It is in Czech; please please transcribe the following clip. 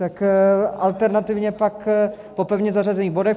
Tak alternativně pak po pevně zařazených bodech.